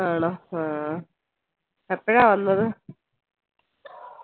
ആണോ ആഹ് എപ്പോഴാ വന്നത്